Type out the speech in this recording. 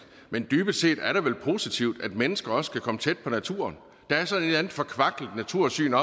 men dybest set er det vel positivt at mennesker også kan komme tæt på naturen det er sådan forkvaklet natursyn